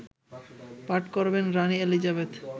পাঠ করবেন রানি এলিজাবেথ